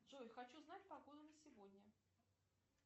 джой хочу знать погоду на сегодня